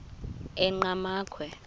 enqgamakhwe